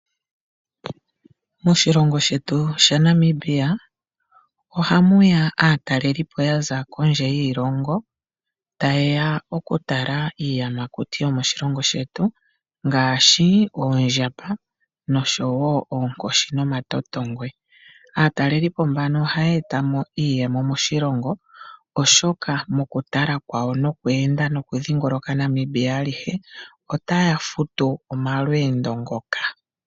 Moshilongo shetu shaNamibia ohamu ya aatalelipo ya za kondje yiilongo taye ya okutala iiyamakuti yomoshilongo shetu ngaashi oondjamba noshowo oonkoshi nomatotongwe. Aatalelipo mbano ohaya eta mo iiyemo moshilongo, oshoka mokutala kwawo nokweenda nokudhingoloka Namibia alihe otaya futu omalweendo ngoka.